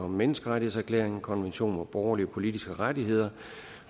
menneskerettighedserklæringen og konventionen om borgerlige og politiske rettigheder